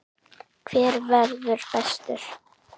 Hver verður bestur?